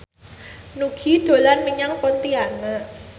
Nugie dolan menyang Pontianak